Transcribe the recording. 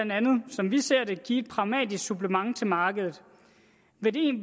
som vi ser det give et pragmatisk supplement til markedet